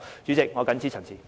主席，我謹此陳辭。